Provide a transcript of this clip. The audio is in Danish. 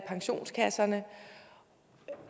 pensionskasserne